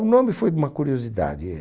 O nome foi de uma curiosidade, é...